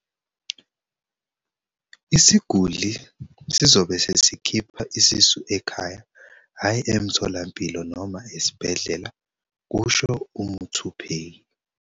"Isiguli sizobe sesikhipha isisu ekhaya hhayi emtholampilo noma esibhedlela," kusho uMuthuphei."